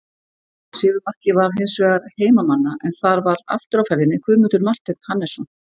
Sigurmarkið var hins vegar heimamanna en þar var aftur á ferðinni Guðmundur Marteinn Hannesson.